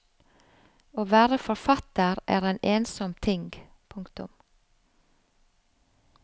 Å være forfatter er en ensom ting. punktum